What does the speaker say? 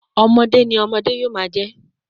ọmọde ni ọmọde yomajẹ